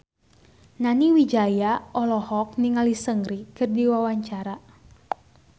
Nani Wijaya olohok ningali Seungri keur diwawancara